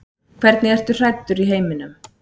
Hvernig ertu hræddur í heiminum?